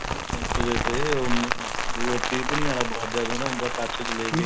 ਨੱਚਦੇ ਤੇ or ਪੀਪਣੀ ਵਾਲਾ ਬਾਜਾ ਖੜਾ ਹੁੰਦਾ ਕੱਛ ਲੈਕੇ